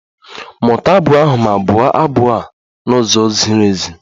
Mụta abụ ahụ ma bụo abụ n'ụzọ ziri ezi!